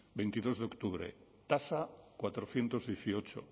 veintidos de octubre tasa cuatrocientos dieciocho